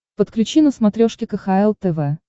подключи на смотрешке кхл тв